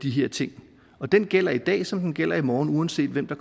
de her ting den gælder i dag som den gælder i morgen uanset hvem der